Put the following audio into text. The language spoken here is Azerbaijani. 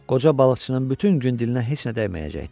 Qoca balıqçının bütün gün dilinə heç nə dəyməyəcəkdi.